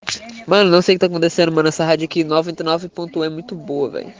можно ставить на кадастр в садике новый канал